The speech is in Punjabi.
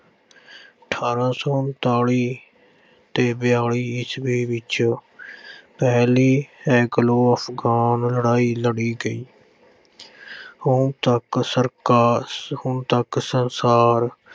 ਅਠਾਰ੍ਹਾਂ ਸੌ ਉਨਤਾਲੀ ਤੇ ਬਿਆਲੀ ਈਸਵੀ ਵਿੱਚ ਪਹਿਲੀ Anglo-Afghan ਲੜਾਈ ਲੜੀ ਗਈ। ਹੁਣ ਤੱਕ ਸਰਕਾ ਅਹ ਹੁਣ ਤੱਕ ਸੰਸਾਰ